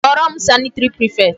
Kpọrọ m sanitary prefect.